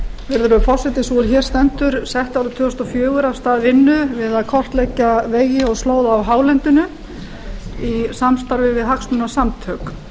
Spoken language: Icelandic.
virðulegur forseti sú er hér stendur setti árið tvö þúsund og fjögur af stað vinnu við að kortleggja vegi og slóða á hálendinu í samstarfi við hagsmunasamtök